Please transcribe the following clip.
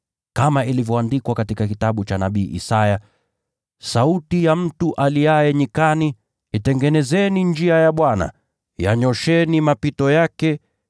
Kama ilivyoandikwa katika kitabu cha nabii Isaya: “Sauti ya mtu aliaye nyikani, ‘Itengenezeni njia ya Bwana, yanyoosheni mapito yake.